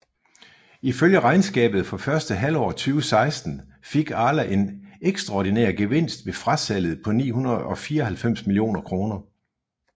Ifølge regnskabet for første halvår 2016 fik Arla en ekstraordinær gevinst ved frasalget på 894 millioner kroner